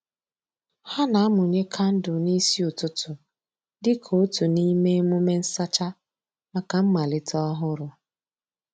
Ha na-amụnye kandụl n'isi ụtụtụ dịka otu n'ime emume nsacha maka mmalite ọhụrụ.